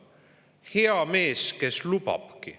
"Hea mees, kes lubabki".